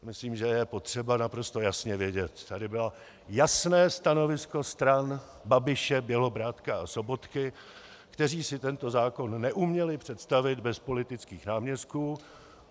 Myslím, že je potřeba naprosto jasně vědět - tady bylo jasné stanovisko stran Babiše, Bělobrádka a Sobotky, kteří si tento zákon neuměli představit bez politických náměstků.